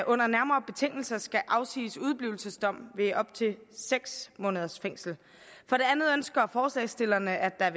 under nærmere betingelser skal afsiges udeblivelsesdomme ved op til seks måneders fængsel for det andet ønsker forslagsstillerne at